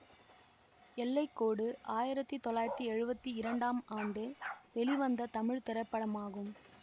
எல்லை கோடு ஆயிரத்தி தொள்ளாயிரத்தி எழுவத்தி இரண்டாம் ஆண்டு வெளிவந்த தமிழ் திரைப்படமாகும்